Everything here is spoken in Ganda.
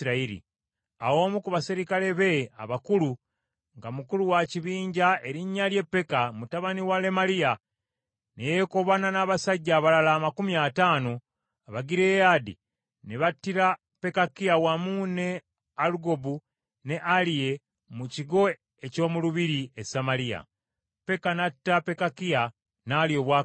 Awo omu ku baserikale be abakulu nga mukulu wa kibinja erinnya lye Peka mutabani wa Lemaliya, ne yeekobaana n’abasajja abalala amakumi ataano Abagireyaadi ne battira Pekakiya wamu ne Alugobu, ne Aliye mu kigo eky’omu lubiri e Samaliya. Peka n’atta Pekakiya, n’alya obwakabaka.